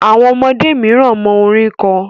Àwọn ọmọdé miran mọ orin kọ